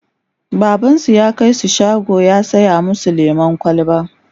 babansu ya kaisu shago ya saya masu lemun kwalba